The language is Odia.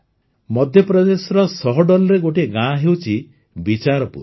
ମଧ୍ୟପ୍ରଦେଶର ସହଡୋଲ୍ର ଗୋଟିଏ ଗାଁ ହେଉଛି ବିଚାରପୁର